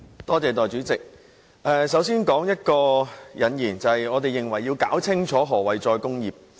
代理主席，我先點出引言，就是要弄清楚何謂"再工業化"。